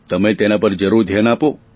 તમે તેના પર જરૂર ધ્યાન આપો